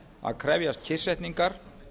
að krefjast kyrrsetningar